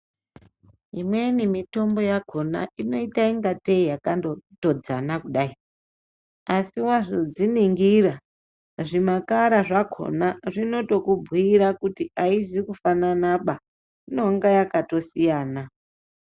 Imweni mitombo yakona ino ita kunga tee yakando todzana kudai asi wazodzi ningira zvi makara zvakona zvinoto ku bhuyira kuti ayizi ku fanana baa inonga yakato siyana.